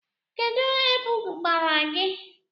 Kedụ ebu gbara gị?